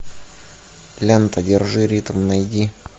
лента держи ритм найди